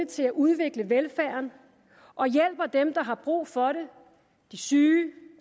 til at udvikle velfærden og hjælper dem der har brug for det de syge